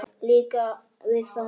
Líka við þá.